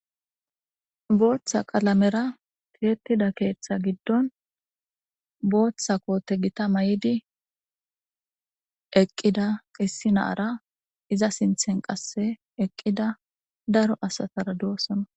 booththa qalamera tirettida keeththa giddon booththa koote gita may7idi eqqida issi naara iza sinthen qasse eqqida daro asatara duosona